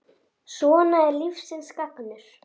Svona er lífsins gangur.